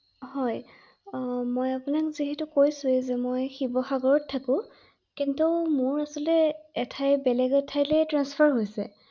হয় মই আপোনাক যিহেতু কৈছোৱে যে মই শিৱসাগৰত থাকো ৷ কিন্ত মোৰ আচলতে এঠাই বেলেগ এঠাইলৈ ট্ৰান্সফাৰ হৈছে ৷